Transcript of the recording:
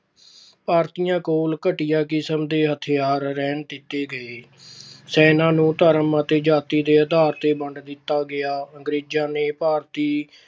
ਭਾਰਤੀਆਂ ਕੋਲ ਘਟੀਆ ਕਿਸਮ ਦੇ ਹਥਿਆਰ ਰਹਿਣ ਦਿੱਤੇ ਗਏ। ਸੈਨਾਂ ਨੂੰ ਧਰਮ ਅਤੇ ਜਾਤੀ ਦੇ ਆਧਾਰ ਤੇ ਵੰਡ ਦਿੱਤਾ ਗਿਆ। ਅੰਗਰੇਜਾਂ ਨੇ ਭਾਰਤੀ